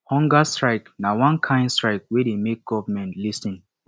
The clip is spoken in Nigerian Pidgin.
hunger strike na one kain strike wey dey make government lis ten